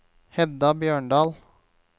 Hedda Bjørndal